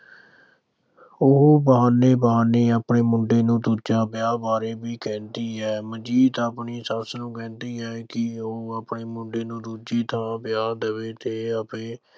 ਉਹ ਬਹਾਨੇ-ਬਹਾਨੇ ਆਪਣੇ ਮੁੰਡੇ ਨੂੰ ਦੂਜੇ ਵਿਆਹ ਬਾਰੇ ਵੀ ਕਹਿੰਦੀ ਹੈ। ਮਨਜੀਤ ਆਪਣੀ ਸੱਸ ਨੂੰ ਕਹਿੰਦੀ ਹੈ ਕਿ ਉਹ ਆਪਣੇ ਮੁੰਡੇ ਨੂੰ ਦੂਜੀ ਥਾਂ ਵਿਆਹ ਦੇਵੇ ਤੇ